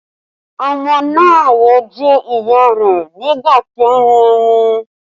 Ọmọ náà wo ojú ìyá rẹ̀ nígbà tí ó ń mú ọmú